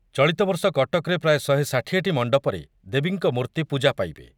ଚଳିତବର୍ଷ କଟକରେ ପ୍ରାୟ ଶହେ ଷାଠିଏ ଟି ମଣ୍ଡପରେ ଦେବୀଙ୍କ ମୂର୍ତ୍ତି ପୂଜା ପାଇବେ